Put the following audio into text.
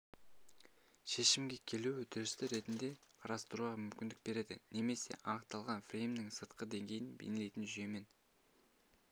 шешімге келу үдерісі ретінде қарастыруға мүмкіндік береді немесе анықталатын фреймнің сыртқы деңгейін бейнелейтін жүйемен